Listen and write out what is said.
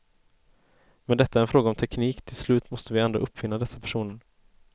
Men detta är en fråga om teknik, till slut måste vi ändå uppfinna dessa personer.